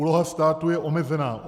Úloha státu je omezená.